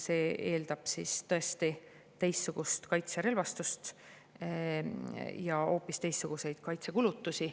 See eeldab tõesti teistsugust kaitserelvastust ja hoopis teistsuguseid kaitsekulutusi.